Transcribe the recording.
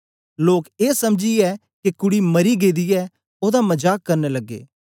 लोक ए समझीयै के कुड़ी मरी गेदी ऐ ओदा मजाक करन लगे